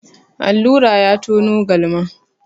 Allura ya tono galma.